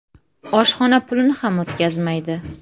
Oshxona pulini ham o‘tkazmaydi.